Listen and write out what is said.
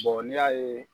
n'i y'a ye